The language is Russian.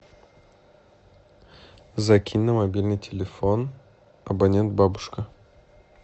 закинь на мобильный телефон абонент бабушка